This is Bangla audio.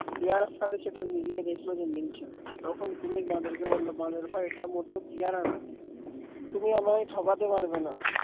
পেয়ারার সাথে সেটা মিলিয়ে দেখলো সেটা মিলছে না তখন কুমির বাঁদরকে বলল বাঁদর ভাই এটা মোটেও পেয়ারা না তুমি আমায় ঠকাতে পারবে না